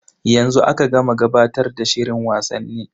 Yanzu aka gama gabatar da shirin wasanni.